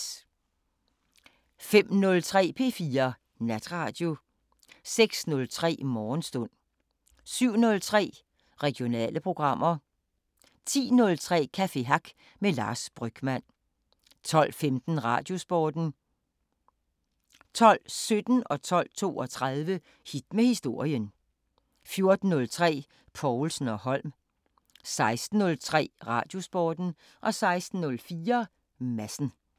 05:03: P4 Natradio 06:03: Morgenstund 07:03: Regionale programmer 10:03: Café Hack med Lars Brygmann 12:15: Radiosporten 12:17: Hit med historien 12:32: Hit med historien 14:03: Povlsen & Holm 16:03: Radiosporten 16:04: Madsen